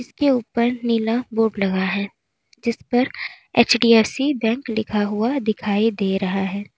उसके ऊपर नीला बोर्ड लगा है जिस पर एच_डी_एफ_सी बैंक लिखा हुआ दिखाई दे रहा है।